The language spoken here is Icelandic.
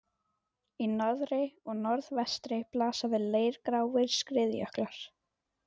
Í norðri og norðvestri blasa við leirgráir skriðjöklar.